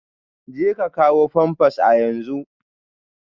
Jeka kawo pampers a yanzu